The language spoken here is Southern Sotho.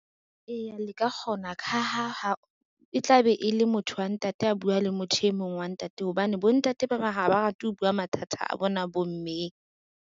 Eya le ka kgona ka ha e tla be e le motho wa ntate a bua le motho e mong wa ntate, hobane bontate ba bang ha ba rate ho bua mathata a bona bommeng.